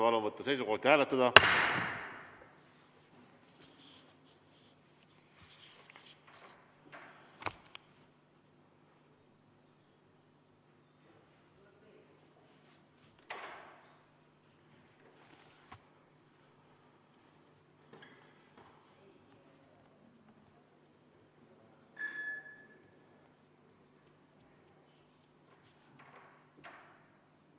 Palun võtta seisukoht ja hääletada!